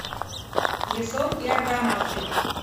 ясон и аргонавты